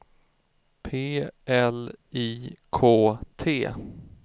P L I K T